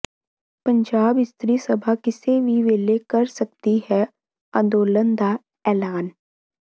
ਪੰਜਾਬ ਇਸਤਰੀ ਸਭਾ ਕਿਸੇ ਵੀ ਵੇਲੇ ਕਰ ਸਕਦੀ ਹੈ ਅੰਦੋਲਨ ਦਾ ਐਲਾਨ